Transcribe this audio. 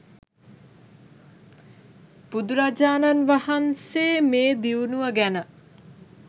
බුදුරජාණන් වහන්සේ මේ දියුණුව ගැන